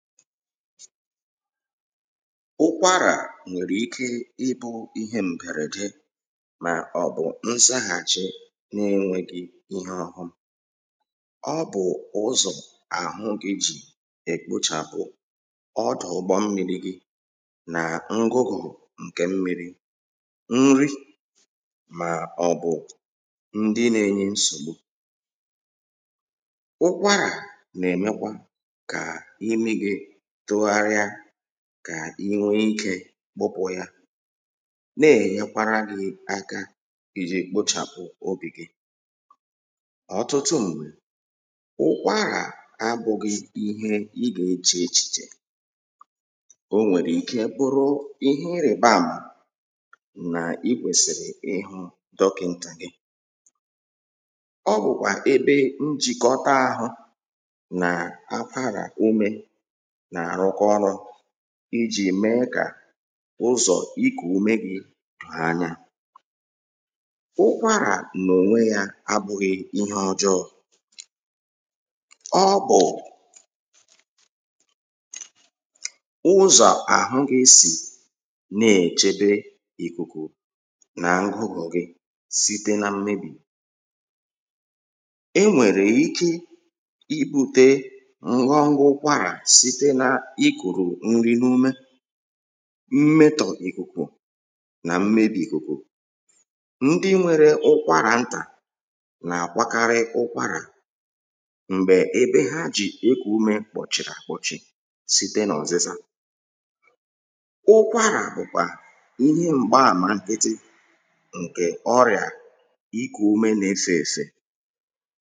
ụkwarà nwèrè ike ị bụ ihe m̀bèrède mà ọ̀ bụ̀ nzahàchi n’enwegi ihe ọhụ ọ bụ̀ ụzọ̀ àhụ gị jì èkpochàpụ ọdụ̀ ụgbọ mmirī gi nà ngụgụ̀ ǹke mmirī nri mà ọbụ ndị n’enye nsògbu ụkwarà nà-èmekwa kà imi gi tụgharia kà inwe ikē gbụpụ̀ yā ná èɲékʷárá gɪ́ áká ìʤɪ́ kpʊ́ʧàʊ́ óbì gí ọ̀tụtụ m̀gbè ʊ́kʷárà ábʊ́gɪ́ íɦé ɪ́ gà éʧè éʧìʧè o nwèrè ike bụrụ ihe irìba àmà n’ikwèsìrì ịhụ̄ dọkintà gị ọbụ̀kwà ebe njìkọta àhụ n’akwarà umē nà-àrụkọ ọrụ̄ ijì mee kà ụzọ̀ ikù umē gi doò anya ụkwarà n’ònwe yā abụghị ihe ọjọọ ọ bụ̀ ụzọ̀ àhụ gị sì nechebe ìkùkù n’ngugù gị site n’mmebì enwèrè ike ibute ngwagwa ụkwarà site nà-ikùrù nri n’ume mmetọ̀ ìkùkù n’mmebì ìkùkù ndị nwere ụkwarà ntà nà-àkwakarị ụkwarà m̀gbè ébé ɦá ʤì ékù úmē kpɔ̀ʧìrì àkpɔ́ʧí síté n ɔ̀zízá ụkwarà bụ̀ kwà ihe m̀gba àmà nkịtị ǹkè ọrịà ikù ume n’efè èfè